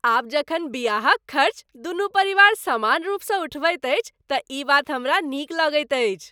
आब जखन बियाहक खर्च दुनू परिवार समान रूपसँ उठबैत अछि तँ ई बात हमरा नीक लगैत अछि।